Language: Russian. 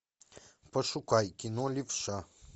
пошукай кино левша